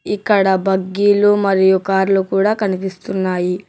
ఇక్కడ బగ్గీలు మరియు కార్లు కూడా కనిపిస్తున్నాయి.